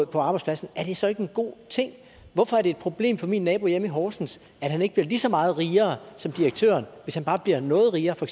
på arbejdspladsen er det så ikke en god ting hvorfor er det et problem for min nabo hjemme i horsens at han ikke bliver lige så meget rigere som direktøren hvis han bare bliver noget rigere for